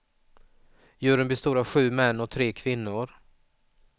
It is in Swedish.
Juryn bestod av sju män och tre kvinnor.